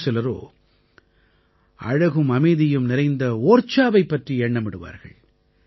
வேறு சிலரோ அழகும் அமைதியும் நிறைந்த ஓர்ச்சாவைப் பர்றி எண்ணமிடுவார்கள்